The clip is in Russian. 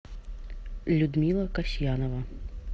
людмила касьянова